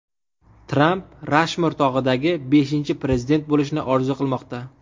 Tramp Rashmor tog‘idagi beshinchi prezident bo‘lishni orzu qilmoqda.